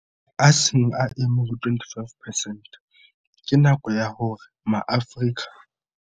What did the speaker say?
A seng a eme ho 25 percent, ke nako ya hore maAfrika.